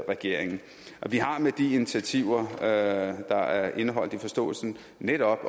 regeringen vi har med de initiativer der er indeholdt i forståelsen netop